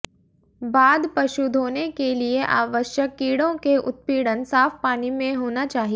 बाद पशु धोने के लिए आवश्यक कीड़ों के उत्पीड़न साफ पानी में होना चाहिए